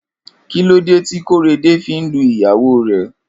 Kilódé ti Korede fi n lú iyàwó rè?